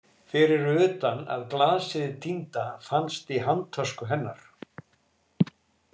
Fyrir utan að glasið týnda fannst í handtösku hennar.